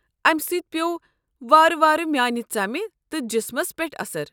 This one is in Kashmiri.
امہ سۭتۍ پیوٚو وارٕ وارٕ میانہِ ژمہِ تہٕ جسمس پٮ۪ٹھ اثر۔